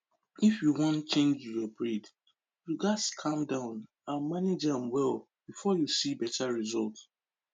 if you wan change your breed you gats calm down and manage am well before you see better result